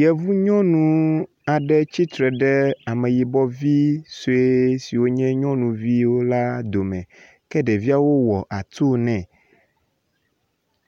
Yevu nyɔnu aɖe tsitre ɖe ameyibɔvi sue siwo nye nyɔnu al dome ke ɖeviawo wɔ atu ne.